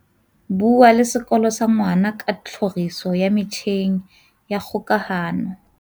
Bua le sekolo sa ngwana ka tlhoriso ya metjheng ya kgokahano.